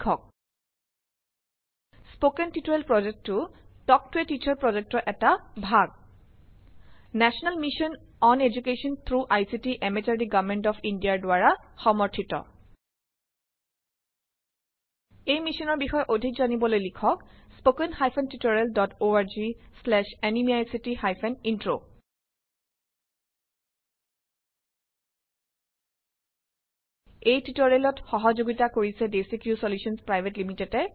Spoken tutorial প্ৰজেক্টটো talk to a teacher প্ৰজেক্টৰ এটা ভাগ। National mission on education through ICT MHRD government of Indiaৰ দ্বাৰা সমৰ্থিত। এই মিচনৰ বিষয়ে অধিক জানিবলৈ লিখক httpspoken tutorialorgNMEICT Intro এই টুটৰিয়েলক সহযোগিতা কৰিছে ডেচিক্ৰিউ চলিউশ্যনছ পিভিটি